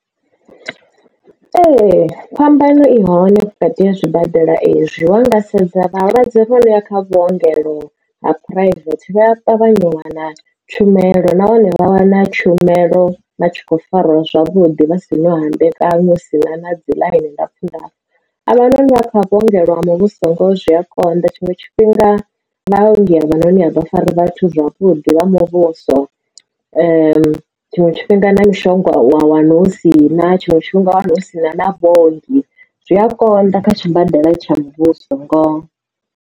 Ee phambano i hone vhukati ha zwibadela ezwi wanga sedza vhalwadze vha noya kha vhuongelo ha phuraivethe vha ṱavhanya u wana tshumelo nahone vha wana tshumelo vhatshi kho fariwa zwavhuḓi vha si na u hambekanywa hu sina na dzi ḽaini ndapfu ndapfu a vha no ni vha kha vhuongelo ha muvhuso ngo zwi a konḓa tshiṅwe tshifhinga vhunzhi ha vhone avha fari vhathu zwavhuḓi vha muvhuso tshiṅwe tshifhinga na mishonga wa wana u si na tshiṅwe tshifhinga wana u si na na vhaongi zwi a konḓa kha tshibadela tsha muvhuso ngoho.